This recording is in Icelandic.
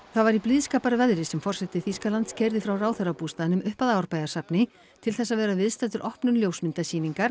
það var í blíðskaparveðri sem forseti Þýskalands keyrði frá ráðherrabústaðnum upp að Árbæjarsafni til þess að vera viðstaddur opnun ljósmyndasýningar